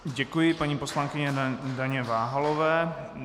Děkuji paní poslankyni Daně Váhalové.